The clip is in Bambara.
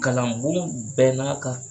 Kalan bon bɛɛ n'a ka